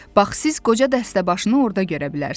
Bax siz qoca dəstəbaşını orda görə bilərsiz.